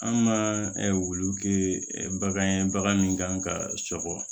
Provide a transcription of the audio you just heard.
An ka wulu kɛ ɛ bagan ye bagan min kan ka sɔgɔ